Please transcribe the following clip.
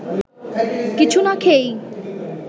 কিছু না খেয়েই